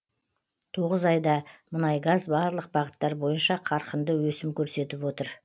тоғыз айда мұнайгаз барлық бағыттар бойынша қарқынды өсім көрсетіп отыр